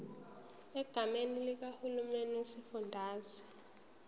egameni likahulumeni wesifundazwe